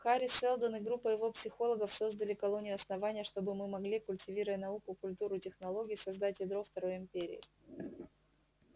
хари сэлдон и группа его психологов создали колонию основание чтобы мы могли культивируя науку культуру и технологию создать ядро второй империи